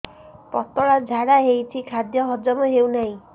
ପତଳା ଝାଡା ହେଉଛି ଖାଦ୍ୟ ହଜମ ହେଉନାହିଁ